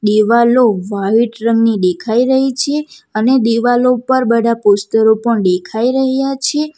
દિવાલો વાઈટ રંગની દેખાઈ રહી છે અને દીવાલો પર બઢા પોસ્ટર ઑ પણ દેખાઈ રહ્યા છે.